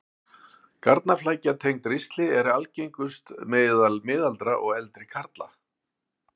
Garnaflækja tengd ristli er algengust meðal miðaldra og eldri karla.